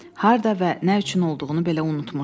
Harda və nə üçün olduğunu belə unutmuşdu.